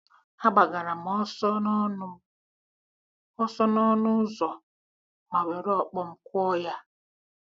A gbagara m ọsọ n’ọnụ m ọsọ n’ọnụ ụzọ ma were ọkpọ m kụọ ya.